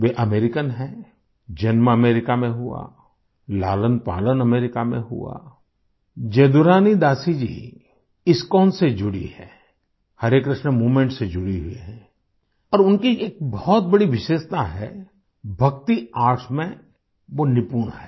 वे American है जन्म America में हुआ लालनपालन अमेरिका में हुआ जदुरानी दासी जी इस्कोन से जुड़ी हैं हरे कृष्णा मूवमेंट से जुड़ी हुई हैं और उनकी एक बहुत बड़ी विशेषता है भक्ति आर्ट्स में वो निपुण है